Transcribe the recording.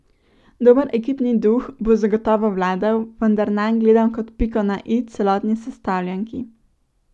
Dober ekipni duh bo zagotovo vladal, vendar nanj gledam kot piko na i celotni sestavljanki.